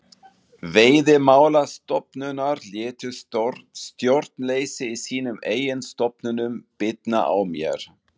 Veiðimálastofnunar létu stjórnleysi í sínum eigin stofnunum bitna á mér.